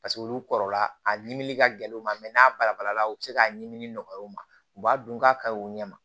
Paseke olu kɔrɔla a ɲimi ka gɛlɛn u ma n'a balabala u bɛ se k'a ɲimi nɔgɔya u ma u b'a dun k'a kaɲi u ɲɛ ma